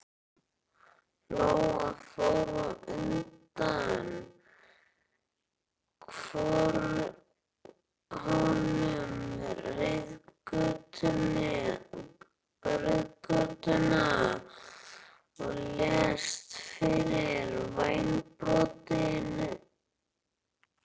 Lóa fór á undan honum reiðgötuna og lést vera vængbrotin.